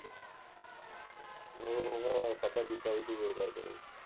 ਓਹਦਾ ਹੁਣ ਤੂੰ ਖਾਧਾ ਪੀਤਾ ਵੀ ਬੇਕਾਰ ਕਰੇਗਾ